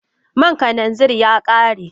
man kananzir ya kare.